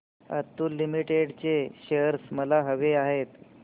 Atul limited चे shares मला हवे आहेत